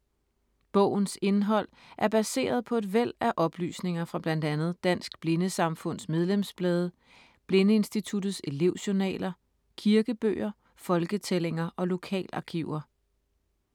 Bogens indhold er baseret på et væld af oplysninger fra blandt andet Dansk Blindesamfunds medlemsblade, Blindeinstituttets elevjournaler, kirkebøger, folketællinger og lokalarkiver.